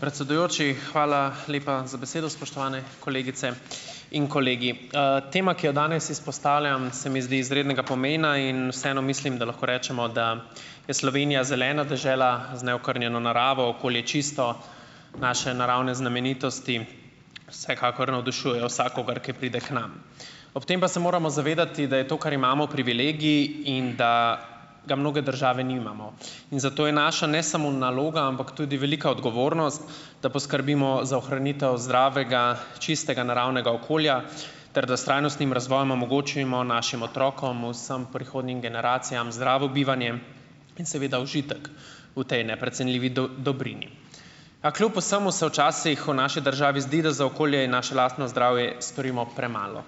Predsedujoči, hvala lepa za besedo. Spoštovane kolegice in kolegi. tema, ki jo danes izpostavljam, se mi zdi izrednega pomena in vseeno mislim, da lahko rečemo, da je Slovenija zelena dežela, z neokrnjeno naravo, okolje čisto, naše naravne znamenitosti vsekakor navdušujejo vsakogar, ki pride k nam. Ob tem pa se moramo zavedati, da je to, kar imamo, privilegij in da ga mnoge države nimamo. In zato je naša, ne samo naloga, ampak tudi velika odgovornost, da poskrbimo za ohranitev zdravega, čistega naravnega okolja, ter da s trajnostnim razvojem omogočimo našim otrokom, vsem prihodnjim generacijam zdravo bivanje in seveda užitek v tej neprecenljivi dobrini. A kljub vsemu se včasih v naši državi zdi, da za okolje in našo lastno zdravje storimo premalo.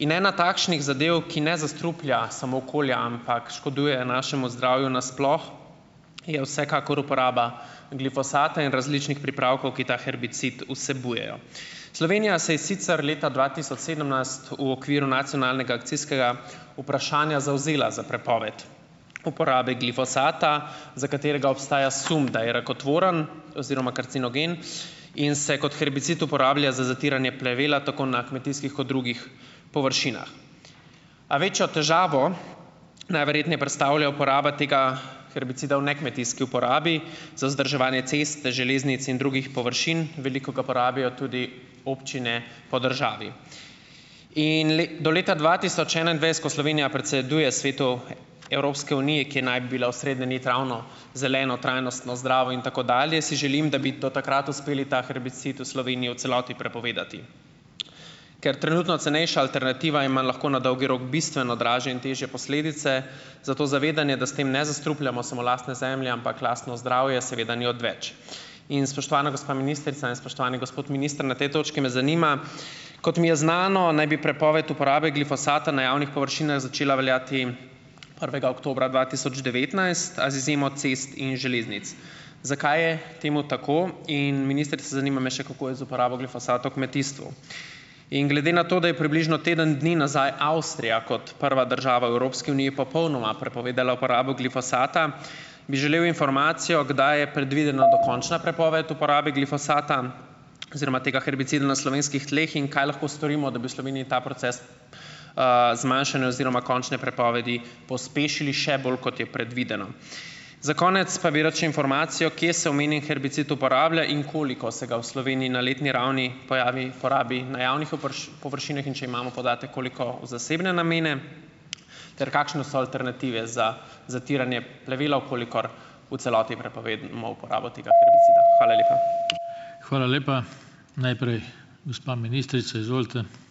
In ena takšnih zadev, ki ne zastruplja samo okolja, ampak škoduje našemu zdravju nasploh, je vsekakor uporaba glifosata in različnih pripravkov, ki ta herbicid vsebujejo. Slovenija se je sicer leta dva tisoč sedemnajst v okviru nacionalnega akcijskega vprašanja zavzela za prepoved uporabe glifosata, za katerega obstaja sum , da je rakotvoren oziroma karcinogen in se kot herbicid uporablja za zatiranje plevela tako na kmetijskih kot drugih površinah. A večjo težavo najverjetneje predstavlja uporaba tega herbicida v nekmetijski uporabi za vzdrževanje cest, železnic in drugih površin, veliko ga porabijo tudi občine po državi. In do leta dva tisoč enaindvajset, ko Slovenija predseduje Svetu Evropske unije, ki naj bila osrednja nit zeleno, trajnostno, zdravo in tako dalje, si želim, da bi do takrat uspeli ta herbicid v Sloveniji v celoti prepovedati. Ker trenutno cenejša alternativa ima lahko na dolgi rok bistveno dražje in težje posledice, zato zavedanje, da s tem ne zastrupljamo samo lastne zemlje, ampak lastno zdravje, seveda ni odveč. In, spoštovana gospa ministrica in spoštovani gospod minister, na tej točki me zanima: kot mi je znano, naj bi prepoved uporabe glifosata na javnih površinah začela veljati prvega oktobra dva tisoč devetnajst, a z izjemo cest in železnic. Zakaj je temu tako? In ministrica, zanima me še, kako je z uporabo glifosata v kmetijstvu. In glede na to, da je približno teden dni nazaj Avstrija, kot prva država v Evropski uniji, popolnoma prepovedala uporabo glifosata, bi želel informacijo, kdaj je predvidena dokončna prepoved uporabe glifosata oziroma tega herbicida na slovenskih tleh in kaj lahko storimo, da bi v Sloveniji ta proces, zmanjšane oziroma končne prepovedi pospešili še bolj, kot je predvideno. Za konec pa bi rad še informacijo, kje se omenjeni herbicid uporablja in koliko se ga v Sloveniji na letni ravni, porabi na javnih površinah in če imamo podatek, koliko v zasebne namene? Ter kakšne so alternative za zatiranje plevela, v kolikor v celoti prepovemo uporabo tega herbicida? Hvala lepa. Hvala lepa. Najprej, gospa ministrica, izvolite.